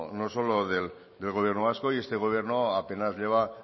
no solo del gobierno vasco y este gobierno apenas lleva